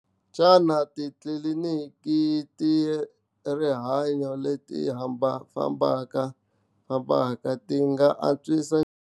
Xana titliliniki ta rihanyo leti fambafambaka, fambaka ti nga antswisa.